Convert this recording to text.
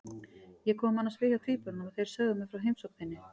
Ég kom annars við hjá tvíburunum og þeir sögðu mér frá heimsókn þinni.